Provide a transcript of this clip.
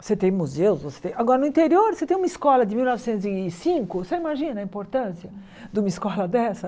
Você tem museus, você tem... Agora, no interior, você tem uma escola de mil novecentos e cinco, você imagina a importância de uma escola dessa?